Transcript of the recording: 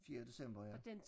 Fjerde december ja